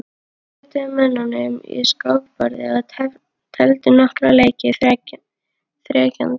Þeir röðuðu mönnunum á skákborðið og tefldu nokkra leiki þegjandi.